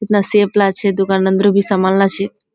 हतना सेब छे ओन्दोरोत भी सामानला छे।